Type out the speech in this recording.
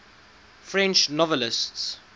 french novelists